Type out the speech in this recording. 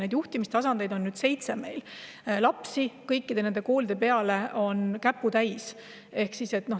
Neid on meil seitse, aga lapsi kõikide nende koolide peale käputäis.